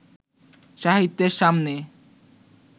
সাহিত্যের সামনে